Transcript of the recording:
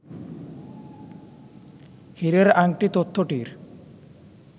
হীরের আংটি তথ্যটির